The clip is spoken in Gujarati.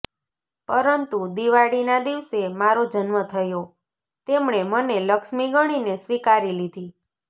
પરંતુ દિવાળીના દિવસે મારો જન્મ થયો તેમણે મને લક્ષ્મી ગણીને સ્વીકારી લીધી